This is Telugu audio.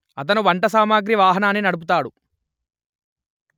అతను వంట సామగ్రి వాహనాన్ని నడుపుతాడు